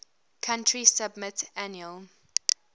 country submit annual